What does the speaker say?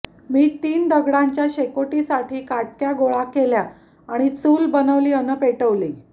मी तीन दगडांच्या शेकोटीसाठी काटक्या गोळा केल्या आणि चूल बनवली अन् पेटवली